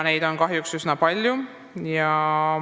Neid on kahjuks üsna palju.